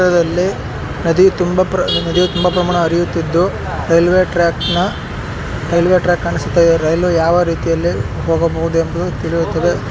ಂದು ನದಿ ತುಂಬಿಹರಿತಿದೆ railway track ಕಾಣಿಸುತ್ತೆ ರೈಲ್ ಯಾವ ರೀತಿ ಬರಬಹುದು ಅಂತ ತಿಳಿಯುತ್ತದೆ.